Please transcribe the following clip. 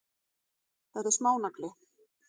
Þetta er smánagli.